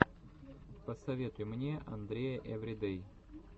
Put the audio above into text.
посоветуй мне андрея эвридэй